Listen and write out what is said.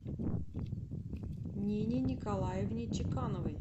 нине николаевне чекановой